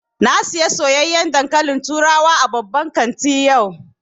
Na saya soyayyan dankalin turawa a babban kanti yau